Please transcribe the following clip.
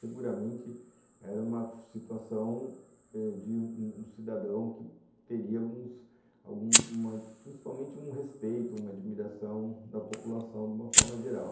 Seguramente era uma situação de um cidadão que teria principalmente alguns alguns, um respeito, uma admiração da população de uma forma geral.